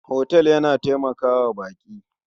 Otal yana taimaka wa baƙi.